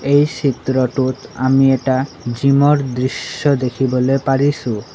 এই চিত্ৰটোত আমি এটা জিম ৰ দৃশশ্য দেখিবলৈ পাৰিছোঁ।